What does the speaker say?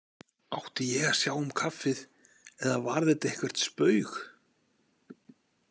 Átti ég að sjá um kaffið eða var þetta eitthvert spaug?